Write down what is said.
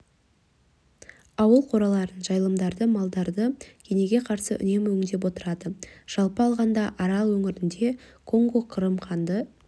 ауыл қораларын жайылымдарды малдарды кенеге қарсы үнемі өңдеп отырады жалпы алғанда арал өңірінде конго-қырым қанды